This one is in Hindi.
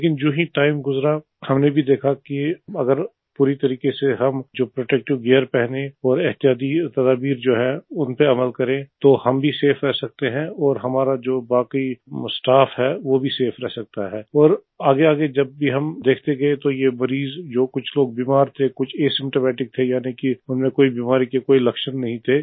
लेकिन जो टाइम गुजरा हमने भी देखा कि अगर पूरी तरीके से हम जो प्रोटेक्टिव गियर पहने एतिहादी तदवीर जो है उन पर अमल करें तो हम भी सफे रह सकते हैं और हमारा जो बाकी स्टाफ है वो भी सफे रह सकता है और आगेआगे हम देखते गये मरीज या कुछ लोग बीमार थे जो एसिम्प्टोमेटिक जिनमें बीमारी के कोई लक्षण नहीं थे